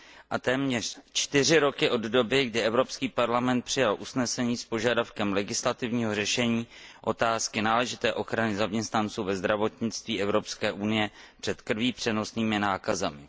a téměř čtyři roky od doby, kdy Evropský parlament přijal usnesení s požadavkem legislativního řešení otázky náležité ochrany zaměstnanců ve zdravotnictví Evropské unie před krví přenosnými nákazami.